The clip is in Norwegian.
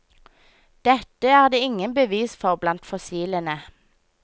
Dette er det ingen bevis for blant fossilene.